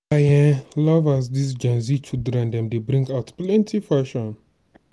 i um love as dis gen z children dem dey bring out plenty fashion.